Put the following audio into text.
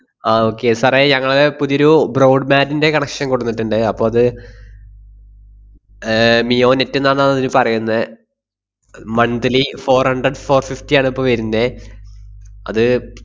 ആഹ് okay sir ഏ ഞങ്ങളെ പുതിയൊരു broad band ന്‍റെ connection കൊണ്ടന്നിട്ട്ണ്ട്. അപ്പൊ അത്, ഏർ മിയോ നെറ്റ് ~ന്ന് ആന്നതിന് പറയുന്നേ monthly four hundred four fifty ആണിപ്പോ വെരുന്നേ. അത്,